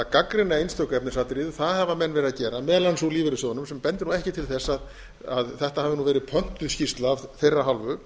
gagnrýna einstök efnisatriði það hafa menn verið að gera meðal annars úr lífeyrissjóðunum sem bendir nú ekki til þess að þetta hafi verið pöntuð skýrsla af þeirra hálfu